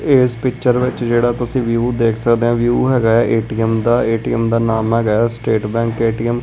ਇਹ ਇਸ ਪਿੱਚਰ ਵਿੱਚ ਜਿਹੜਾ ਤੁਸੀ ਵਿਊ ਦੇਖ ਸਕਦੇ ਆਂ ਵਿਊ ਹੈਗਾ ਏ ਆ ਏ_ਟੀ_ਐਮ ਦਾ ਏ_ਟੀ_ਐਮ ਦਾ ਨਾਮ ਹੈਗਾ ਐ ਸਟੇਟ ਬੈਂਕ ਏ_ਟੀ_ਐਮ ।